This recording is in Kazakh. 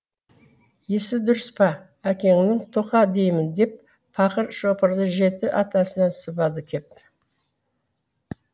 есі дұрыс па әкеңнің тоқта деймін деп пақыр шопырды жеті атасынан сыбады кеп